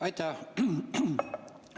Aitäh!